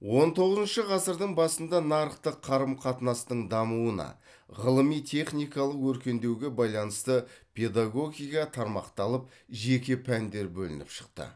он тоғызыншы ғасырдың басында нарықтық қарым қатынастың дамуына ғылыми техникалық өркендеуге байланысты педагогика тармақталып жеке пәндер бөлініп шықты